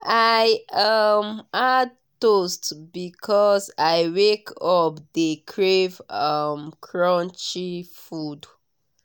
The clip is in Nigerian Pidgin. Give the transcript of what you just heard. i um add toast because i wake up dey crave um crunchy food.